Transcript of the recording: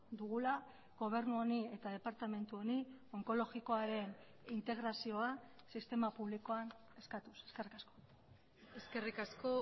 dugula gobernu honi eta departamentu honi onkologikoaren integrazioa sistema publikoan eskatuz eskerrik asko eskerrik asko